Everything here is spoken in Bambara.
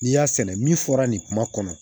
N'i y'a sɛnɛ min fɔra nin kuma kɔnɔ